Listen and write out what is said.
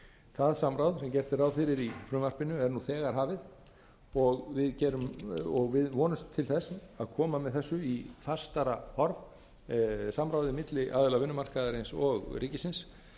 það samráð sem gert er ráð fyrir í frumvarpinu er nú þegar hafið og við vonumst til þess að koma með þessu í fastara form samráði milli aðila vinnumarkaðarins og ríkisins